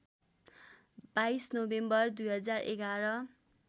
२२ November २०११